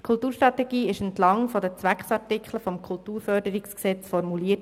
Die Kulturstrategie wurde entlang der Zweckartikel des KKFG formuliert.